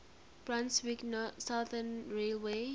brunswick southern railway